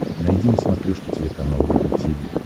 найди на смотрешке телеканал рубль ти ви